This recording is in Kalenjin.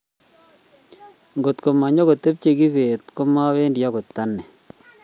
kotko manyipokotepche kibet ko mawendi akot anee